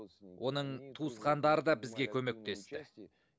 оның туысқандары да бізге көмектесті